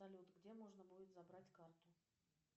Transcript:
салют где можно будет забрать карту